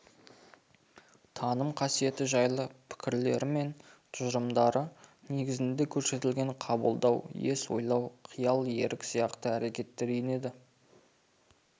танымдық қасиеті жайлы пікірлері мен тұжырымдары негізінде көрсетілген қабылдау ес ойлау қиял ерік сияқты әрекеттер енеді